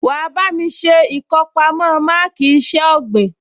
Wà á bá mi ṣe ìkọpamọ́ máàkì iṣẹ́ ọ̀gbìn